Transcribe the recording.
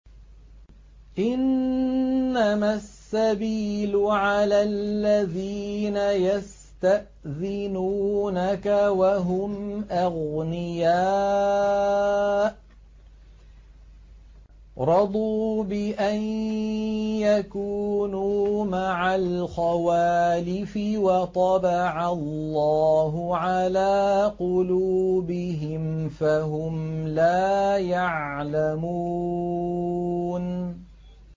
۞ إِنَّمَا السَّبِيلُ عَلَى الَّذِينَ يَسْتَأْذِنُونَكَ وَهُمْ أَغْنِيَاءُ ۚ رَضُوا بِأَن يَكُونُوا مَعَ الْخَوَالِفِ وَطَبَعَ اللَّهُ عَلَىٰ قُلُوبِهِمْ فَهُمْ لَا يَعْلَمُونَ